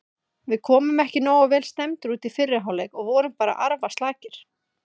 Við komum ekki nógu vel stemmdir út í fyrri hálfleik og vorum bara arfaslakir.